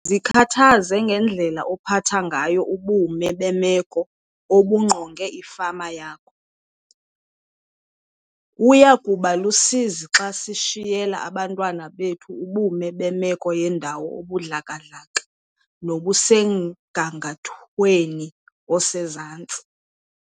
Zikhathaze ngendlela ophatha ngayo ubume bemeko obungqonge ifama yakho. Kuya kuba lusizi xa sishiyela abantwana bethu ubume bemeko yendawo obudlaka-dlaka nobusemgangathweni osezantsi.